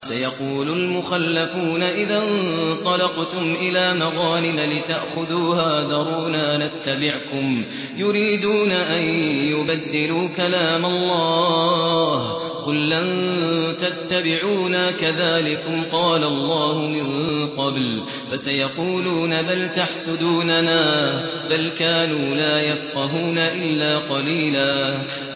سَيَقُولُ الْمُخَلَّفُونَ إِذَا انطَلَقْتُمْ إِلَىٰ مَغَانِمَ لِتَأْخُذُوهَا ذَرُونَا نَتَّبِعْكُمْ ۖ يُرِيدُونَ أَن يُبَدِّلُوا كَلَامَ اللَّهِ ۚ قُل لَّن تَتَّبِعُونَا كَذَٰلِكُمْ قَالَ اللَّهُ مِن قَبْلُ ۖ فَسَيَقُولُونَ بَلْ تَحْسُدُونَنَا ۚ بَلْ كَانُوا لَا يَفْقَهُونَ إِلَّا قَلِيلًا